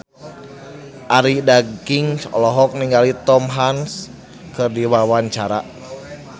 Arie Daginks olohok ningali Tom Hanks keur diwawancara